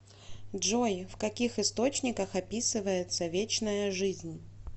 джой в каких источниках описывается вечная жизнь